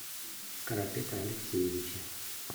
карапета алексеевича